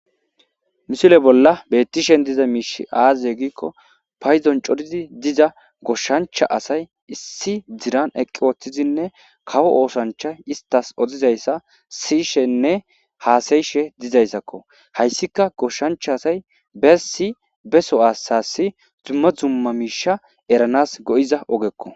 misile bolla bettishen diza miish aaaze giikko payzon corizi diza goshshancha asay issi diran eqqi ooththizinne kawo oosancha istas odizayssa sishenne haasayishe dizayssakko hayssika goshancha asay bessi beso asasi zumma zumma miisha eranas go7iza ogekko